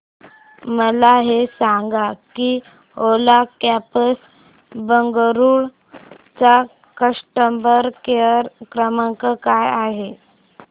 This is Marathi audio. मला हे सांग की ओला कॅब्स बंगळुरू चा कस्टमर केअर क्रमांक काय आहे